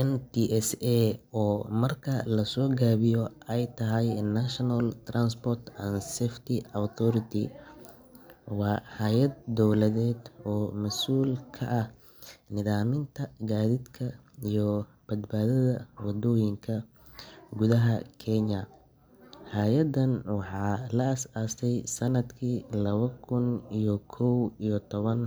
NTSA, oo marka la soo gaabiyo ay tahay National Transport and Safety Authority, waa hay’ad dowladeed oo mas’uul ka ah nidaaminta gaadiidka iyo badbaadada waddooyinka gudaha Kenya. Hay’addan waxaa la aasaasay sannadkii laba kun iyo kow iyo toban,